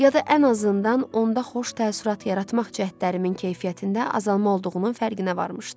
Ya da ən azından onda xoş təəssürat yaratmaq cəhdlərimin keyfiyyətində azalma olduğunun fərqinə varmışdı.